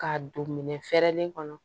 K'a don minɛn fɛrɛlen kɔnɔ